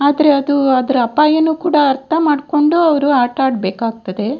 ಆದ್ರೆ ಅದು ಅದರ ಅಪಾಯನು ಕೂಡ ಅರ್ಥಮಾಡ್ಕೊಂಡು ಅವ್ರು ಆಟ ಆಡ್‌ಬೇಕಾಗ್ತದೆ.